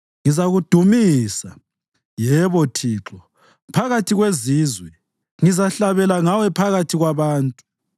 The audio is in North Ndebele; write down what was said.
Ngizakudumisa, yebo Thixo, phakathi kwezizwe; ngizahlabela ngawe phakathi kwabantu.